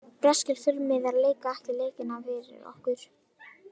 Breskir fjölmiðlar leika ekki leikina fyrir okkur.